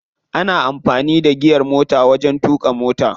Ana amfani da giyar motar wajen tuƙa mota.